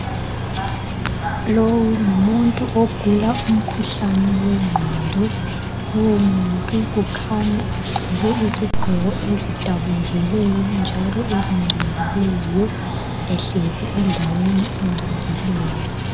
Lowu ngumuntu ogula umkhuhlane wengqondo ,lowu muntu kukhanya egqoke izigqoko ezidabukileyo njalo ezingcolileyo ehlezi endaweni engcolileyo.